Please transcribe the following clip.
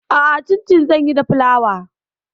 A'a, cincin zan yi da flawar.